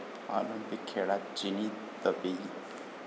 Olympic खेळात चिनी Taipei